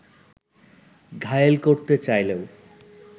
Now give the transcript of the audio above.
ঘায়েল করতে চাইলেও